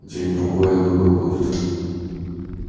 день другой и выбор будет